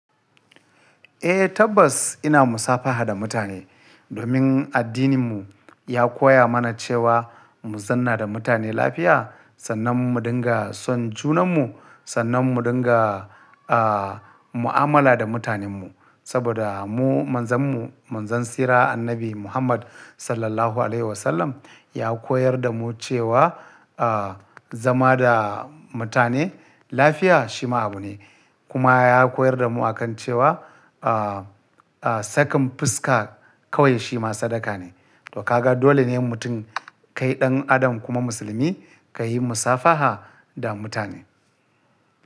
Eh tabbas ina musafaha da mutane domin addininmu ya koya mana cewa mu zanna da mutane lafiya, sannan mu dinga son junanmu, sannan mu dinga, ah, mu'amala da mutanenmu. Saboda mu manzanmu, manzan tsira Annabi Muhammad Sallallahu Alaihi Wasallam ya koyar da mu cewa, ah, zama da mutane lafiya shi ma abu ne. Kuma ya koyar da mu a kan cewa, ah, ah, sakin fuska kawai shi ma sadaka ne. To ka ga dole ne mutum kai ɗan adam kuma musulmi ka yi musafaha da mutane.